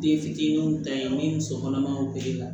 Den fitininw ta ye mun ye muso kɔnɔmanw la